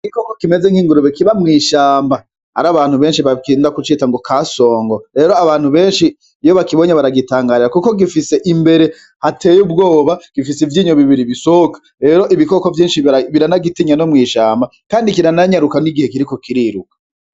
Igikoko kimeze nk’ingurube kiba mw’ishamba har’abantu benshi bagenda kucita ngo kasongo, rero abantu benshi iyo bakibonye baragitangarira Kuko gifise imbere hateye ubwoba , gifise ivyinyo bibiri bisohoka rero ibikoko vyinshi biranagitinya no mw’ishamba kandi kirananyaruka n’igice kiriko Kiriruka.